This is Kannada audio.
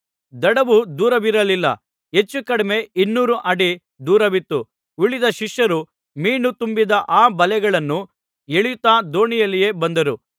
ದಡವು ದೂರವಿರಲಿಲ್ಲ ಹೆಚ್ಚು ಕಡಿಮೆ ಇನ್ನೂರು ಅಡಿ ದೂರವಿತ್ತು ಉಳಿದ ಶಿಷ್ಯರು ಮೀನು ತುಂಬಿದ್ದ ಆ ಬಲೆಯನ್ನು ಎಳೆಯುತ್ತಾ ದೋಣಿಯಲ್ಲಿಯೇ ಬಂದರು